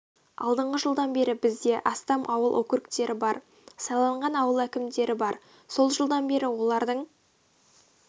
алдыңғы жылдан бері бізде астам ауыл округтері бар сайланған ауыл әкімдері бар сол жылдан бері олардың